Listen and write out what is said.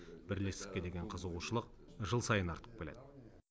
бірлестікке деген қызығушылық жыл сайын артып келеді